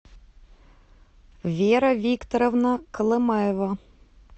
вера викторовна колымаева